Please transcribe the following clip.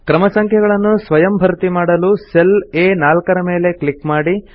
ಕ್ರಮ ಸಂಖ್ಯೆಗಳನ್ನು ಸ್ವಯಂ ಭರ್ತಿಮಾಡಲು ಸೆಲ್ ಆ4 ರ ಮೇಲೆ ಕ್ಲಿಕ್ ಮಾಡಿ